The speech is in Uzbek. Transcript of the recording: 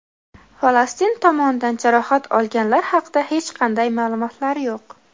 Falastin tomonidan jarohat olganlar haqida hech qanday ma’lumotlar yo‘q.